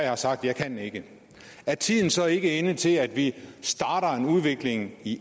har sagt jeg kan ikke er tiden så ikke inde til at vi starter en udvikling i